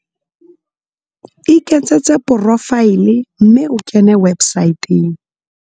Iketsetse porofaele mme o kene websaeteng.